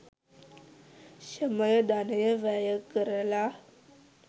ශ්‍රමය, ධනය වැයකරලා